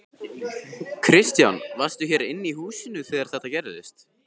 Kristján: Varstu hér inni í húsinu þegar þetta gerðist?